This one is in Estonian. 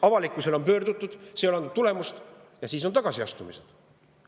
Avalikkuse poole on pöördutud, see ei ole andnud tulemust, ja siis on tulnud tagasiastumised.